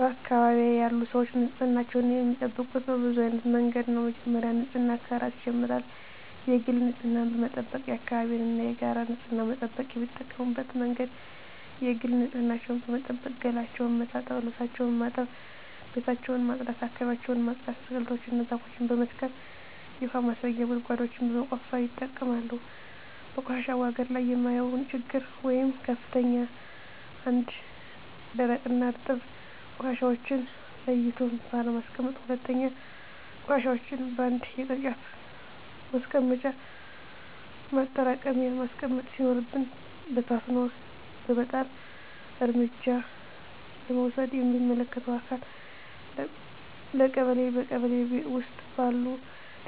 በአካባቢዬ ያሉ ሰዎች ንፅህናቸውን የሚጠብቁት በብዙ አይነት መንገድ ነው በመጀመሪያ ንፅህና ከራስ ይጀምራል የግል ንፅህናን በመጠበቅ የአካባቢን እና የጋራ ንፅህና መጠበቅ። የሚጠቀሙበት መንገድ የግል ንፅህናቸውን በመጠበቅ ገላቸውን መታጠብ ልብሳቸውን ማጠብ ቤታቸውን ማፅዳት አካባቢያቸውን ማፅዳት። አትክልቶችን እና ዛፎችን በመትከል የውሀ ማስረጊያ ጉድጓዶችን በመቆፈር ይጠቀማሉ። በቆሻሻ አወጋገድ ላይ የማየው ችግር ወይም ክፍተት 1ኛ, ደረቅና እርጥብ ቆሻሻዎችን ለይቶ ባለማስቀመጥ 2ኛ, ቆሻሻዎችን በአንድ የቅርጫት ማስቀመጫ ማጠራቀሚያ ማስቀመጥ ሲኖርብን በታትኖ በመጣል። እርምጃ ለመውሰድ ለሚመለከተው አካል ለቀበሌ ,በቀበሌ ውስጥ ባሉ